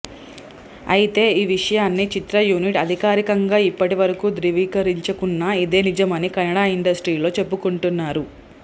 అయితే ఈ విషయాన్ని చిత్ర యూనిట్ అధికారికంగా ఇప్పటి వరకు ద్రువీకరించాకున్న ఇదే నిజం అని కన్నడ ఇండస్ట్రీలో చెప్పుకుంటున్నారు